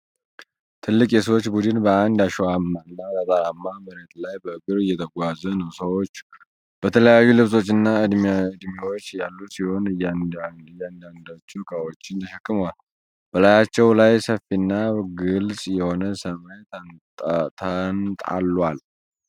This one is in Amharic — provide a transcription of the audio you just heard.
ትልቅ የሰዎች ቡድን በአንድ አሸዋማና ጠጠራም መሬት ላይ በእግር እየተጓዘ ነው። ሰዎች በተለያዩ ልብሶችና ዕድሜዎች ያሉ ሲሆኑ አንዳንዶቹ ዕቃዎችን ተሸክመዋል። በላያቸው ላይ ሰፊና ግልጽ የሆነ ሰማይ ተንጣሏል።